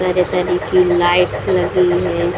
तरह-तरह की लाइट्स लगी है।